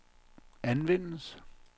anvendes